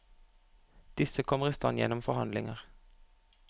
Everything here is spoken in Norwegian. Disse kommer i stand gjennom forhandlinger.